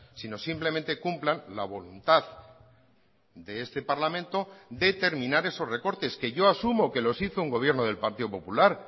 sino simplemente cumplan la voluntad de este parlamento de terminar esos recortes que yo asumo que los hizo un gobierno del partido popular